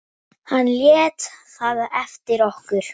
Hann lét það eftir okkur.